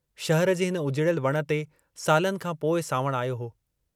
शहर जे हिन उजिड़यल वण ते सालनि खां पोइ सांवणु आयो हो।